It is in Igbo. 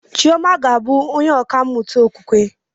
Chioma ga-abụ onye ọkà mmụta okwukwe